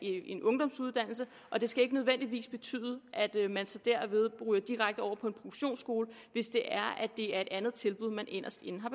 en ungdomsuddannelse og det skal ikke nødvendigvis betyde at man ryger direkte over på en produktionsskole hvis det er et andet tilbud man inderst inde har